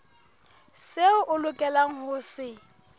seo o lokelang ho se